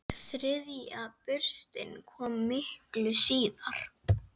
Þriðja burstin kom miklu síðar.